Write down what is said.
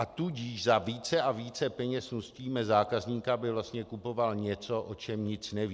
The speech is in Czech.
A tudíž za více a více peněz nutíme zákazníka, aby vlastně kupoval něco, o čem nic neví.